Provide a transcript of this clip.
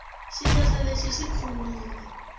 xihlahla lexi xi tlhumile